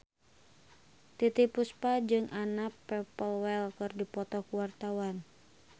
Titiek Puspa jeung Anna Popplewell keur dipoto ku wartawan